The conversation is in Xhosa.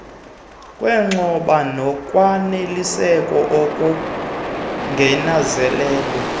kwexhoba nokwaneliseka okongezelelweyo